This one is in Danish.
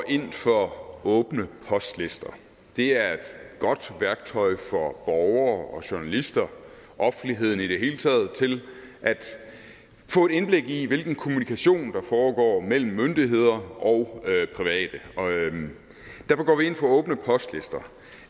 ind for åbne postlister det er et godt værktøj for borgere og journalister offentligheden i det hele taget til at få et indblik i hvilken kommunikation der foregår mellem myndigheder og private og vi ind for åbne postlister